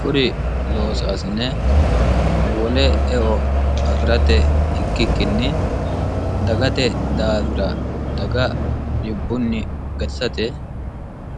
kuri loosaasine wole eo afi'rate ikkikkinni dagate daafira daga dibbunni gatisate